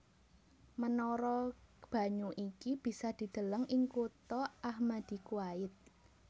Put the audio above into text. Menara banyu iki bisa dideleng ing kutha Ahmadi Kuwait